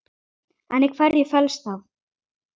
En í hverju felst það?